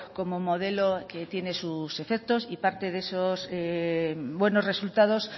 como modelo que tiene sus efectos y parte de esos buenos resultados